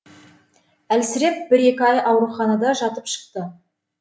әлсіреп бір екі ай ауруханада жатып шықты